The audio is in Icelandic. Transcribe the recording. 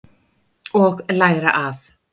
Og læra af.